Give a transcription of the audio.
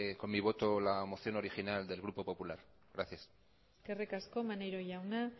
con mi voto la moción original del grupo popular gracias eskerrik asko maneiro jauna